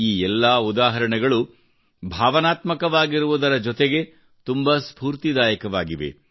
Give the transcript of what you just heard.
ಈ ಎಲ್ಲಾ ಉದಾಹರಣೆಗಳು ಭಾವನಾತ್ಮಕವಾಗಿರುವುದ ಜೊತೆಗೆ ತುಂಬಾ ಸ್ಪೂರ್ತಿದಾಯಕವಾಗಿವೆ